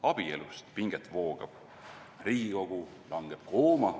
Abielust pinget voogab, Riigikogu langeb kooma.